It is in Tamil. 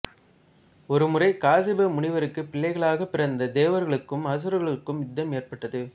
ஒருமுறை காசிப முனிவருக்கு பிள்ளைகளாகப் பிறந்த தேவர்களுக்கும் அசுரர்களுக்கும் யுத்தம் ஏற்பட்டது